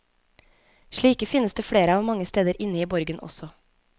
Slike finnes det flere av mange steder inne i borgen også.